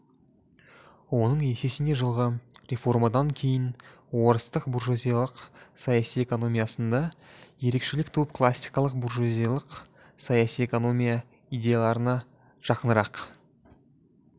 оның есесіне жылғы реформадан кейін орыстың буржуазиялық саяси экономиясында ерекшелік туып классикалық буржуазиялық саяси экономия идеяларына жақынырақ